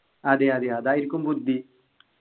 അതേയ് അതേയ് അതായിരിക്കും ബുദ്ധി